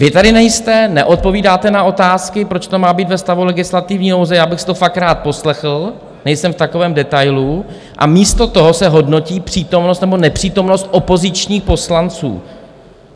Vy tady nejste, neodpovídáte na otázky, proč to má být ve stavu legislativní nouze - já bych si to fakt rád poslechl, nejsem v takovém detailu - a místo toho se hodnotí přítomnost nebo nepřítomnost opozičních poslanců.